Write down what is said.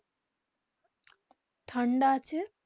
ঠান্ডা আছে